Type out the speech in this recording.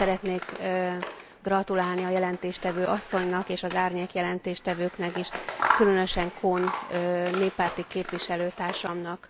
Én is szeretnék gratulálni a jelentéstevő asszonynak és az árnyék jelentéstevőknek is, különösen Kohn néppárti képviselőtársamnak.